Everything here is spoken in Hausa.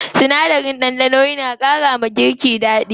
Sinadarin ɗanɗano na ƙara wa girki daɗi.